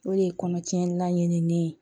O de ye kɔnɔtiɲɛni la ɲinini ye